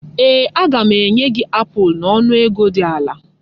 Ee! Aga m enye gị apụl n'ọnụ ego dị ala.